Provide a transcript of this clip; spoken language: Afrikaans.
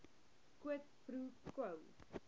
quid pro quo